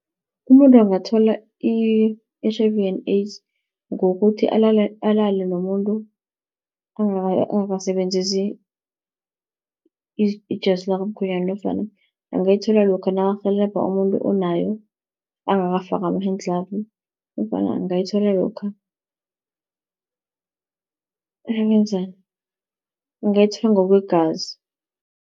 Umuntu angathola i-H_I_V and AIDS ngokuthi alale nomuntu angakasebenzisi ijasi lakamkhwenyana, nofana angayithola lokha nakarhelebha umuntu onayo angakafaki ama-hand glove, nofana angayithola lokha nakenzani, angayithola ngokwegazi.